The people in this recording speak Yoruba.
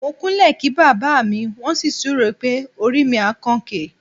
Mo kúnlẹ̀ kí bàbá mi, wọ́n sì súre pé "orí mi á kan òkè".